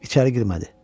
İçəri girmədi.